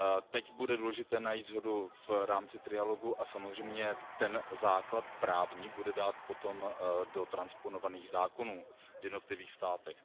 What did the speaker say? Teď bude důležité najít shodu v rámci trialogu a samozřejmě ten právní základ bude potřeba dát potom do transponovaných zákonů v jednotlivých státech.